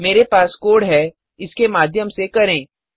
मेरे पास कोड है इसके माध्यम से करें